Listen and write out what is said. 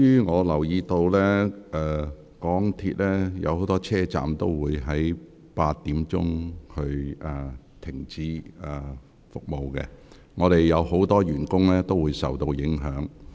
我留意到今天多個港鐵車站將提早於晚上8時停止服務，本會不少職員將因而受到影響。